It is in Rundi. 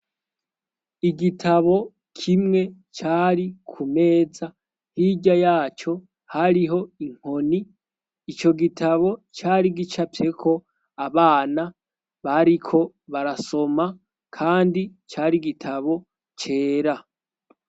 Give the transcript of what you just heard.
Igitabo kimwe cari ku meza hirya yaco hariho inkoni ico gitabo cari gica apyeko abana bariko barasoma, kandi cari igitabo cera.